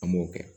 An m'o kɛ